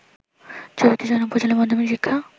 ৬৪ জন উপজেলা মাধ্যমিক শিক্ষা